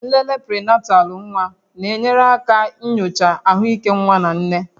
Nlele prịnatalụ nwa na-enyere aka nyochaa ahụike nwa na nne